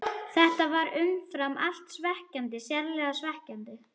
Þetta var umfram allt svekkjandi, sárlega svekkjandi.